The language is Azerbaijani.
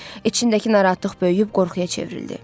İçindəki narahatlıq böyüyüb qorxuya çevrildi.